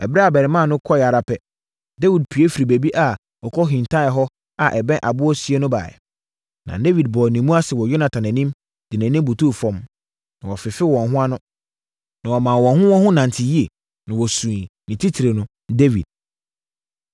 Ɛberɛ a abarimaa no kɔeɛ ara pɛ, Dawid pue firii baabi a ɔkɔhintaeɛ hɔ a ɛbɛn aboɔ sie no baeɛ. Na Dawid bɔɔ ne mu ase wɔ Yonatan anim, de nʼanim butuu fam. Na wɔfefee wɔn ho ano, na wɔmaa wɔn ho wɔn ho nante yie, na wɔsuiɛ, ne titire no, Dawid.